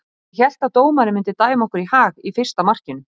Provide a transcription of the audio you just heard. Ég hélt að dómarinn myndi dæma okkur í hag í fyrsta markinu.